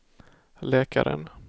läkaren